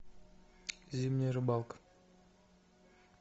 зимняя рыбалка